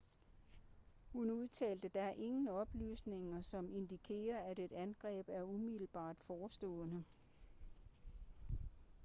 hun udtalte der er ingen oplysninger som indikerer at et angreb er umiddelbart forestående